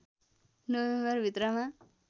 November भित्रमा